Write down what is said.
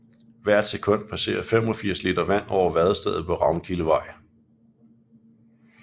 Hvert sekund passerer 85 liter vand over vadestedet på Ravnkildevej